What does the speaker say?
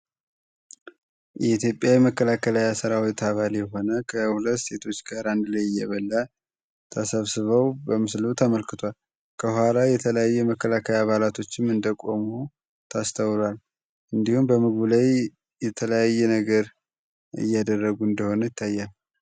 የኢትዮጵያ የመከላከያ ሠራዊት አባል የሆነ ከሁለት ሴቶች ጋር አንድ ላይ እየበላ ተሰብስበው በምስሉ ተመልክቷል። የተለያዩ የመከላከላቶችም እንደቆመው ታስታውራ እንዲሁም የተለያዩ ነገር እያደረጉ እንደሆነ ይታያል።